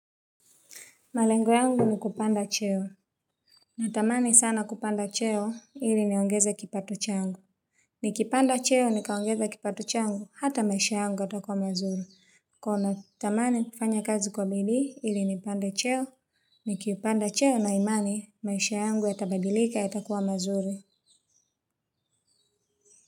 Malengo yangu ni kupanda cheo. Natamani sana kupanda cheo ili niongeze kipati changu. Nikipanda cheo nikaongeza kipati changu hata maisha yangu yatakua mazuri. Kwa hiyo natamani kufanya kazi kwa bidii ili nipande cheo. Nikipanda cheo na imani maisha yangu yatabadilika yatakuwa mazuri.